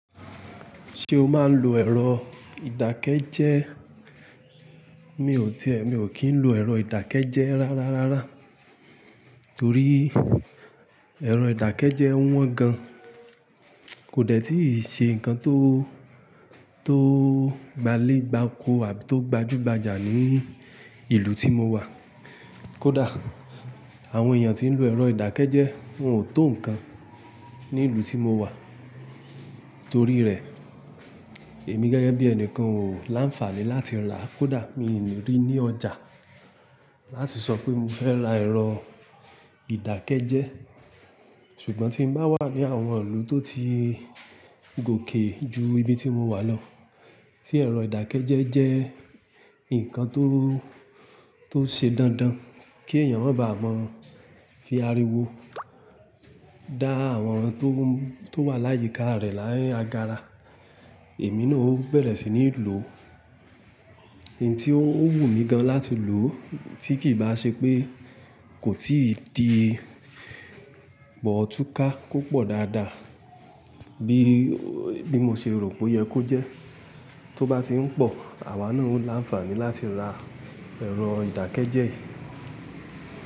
Ṣé o máa ń lo ẹ̀rọ ìdákẹ́jẹ́ẹ́? Mi ò tí è, mi ò kí ń lo ẹ̀rọ ìdákẹ́jẹ́ẹ́ rárá rárá, torí ẹ̀rọ ìdákẹ́jẹ́ẹ́ wọ́n gan-an kò dẹ́ tíì ṣe nǹkan tó, tó gbalégbako àbí tó gbajúgbajà ní ìlú tí mo wà. Kódà àwọn èèyàn tí ń lo ẹ̀rọ ìdákẹ́jẹ́ẹ́ wọ́n ò tó nǹkan ní'lùú tí mo wà. Torí rẹ̀, èmi gẹ́gẹ́ bí ẹnìkan ò láǹfààní láti rà. Kódà míì lè rí ní ọjà láti sọ pé mo fẹ́ ra ẹ̀rọ ìdákẹ́jẹ́ẹ́. Ṣùgbọ́n tí n bá wà ní àwọn ìlú tó ti gòkè ju ibi tí mo wà lọ, tí ẹ̀rọ ìdákẹ́jẹ́ẹ́ jẹ́ nǹkan tó, tó ṣe dandan kí èèyàn má baà mọ̀ fi ariwo dá àwọn tó wà láyìíká rẹ̀ ní agára, èmi náà ó bẹ̀rẹ̀ sí ní lò ó. Ǹ tí ó wù mí gan láti lò ó tí kì í bá ṣe pé kò tíì di bọ̀túká kó pọ̀ dáadáa bí, bí mo ṣe rò pó yẹ kó jẹ́. Tó bá ti ń pọ̀, àwa náà ó láǹfààní láti ra ẹ̀rọ ìdákẹ́jẹ́ẹ́ yìí.